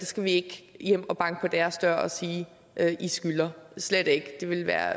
skal vi ikke hjem og banke på deres dør og sige at de skylder slet ikke det ville være